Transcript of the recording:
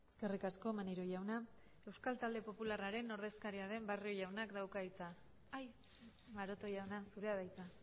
eskerrik asko maneiro jauna euskal talde popularraren ordezkaria den barrio jaunak dauka hitza maroto jauna zurea da hitza